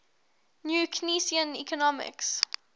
new keynesian economics